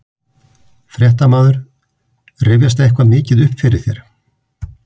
Fréttamaður: Rifjast eitthvað mikið upp fyrir þér?